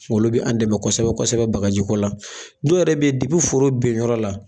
Olu bi an dɛmɛ kosɛbɛ kosɛbɛ bagajiko la dɔw yɛrɛ be yen foro benyɔrɔ la